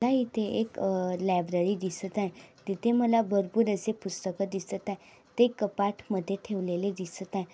मला इथे एक लॅब्ररी दिसत आहे. तिथे माला भरपूर असे पुस्तक दिसत आहे. ते कपात मध्ये ठेवलेले दिसत आहे.